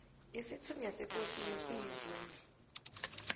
isithunywa sekosini siyivume